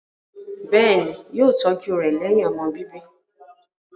Bẹ́ẹ̀ ni, wọ́n yóò tọ́jú rẹ̀ lẹ́yìn ọmọ bíbí.